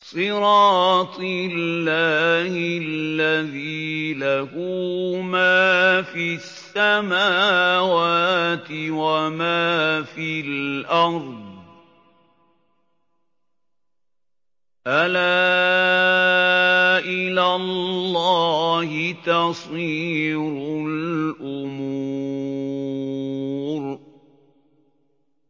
صِرَاطِ اللَّهِ الَّذِي لَهُ مَا فِي السَّمَاوَاتِ وَمَا فِي الْأَرْضِ ۗ أَلَا إِلَى اللَّهِ تَصِيرُ الْأُمُورُ